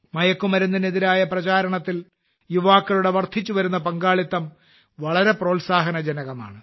മയക്കുമരുന്നിനെതിരായ പ്രചാരണത്തിൽ യുവാക്കളുടെ വർദ്ധിച്ചുവരുന്ന പങ്കാളിത്തം വളരെ പ്രോത്സാഹനജനകമാണ്